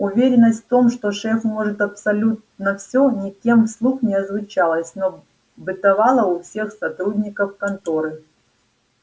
уверенность в том что шеф может абсолютно все никем вслух не озвучивалась но бытовала у всех сотрудников конторы